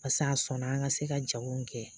Pase a sɔnna an ka se ka jago kɛ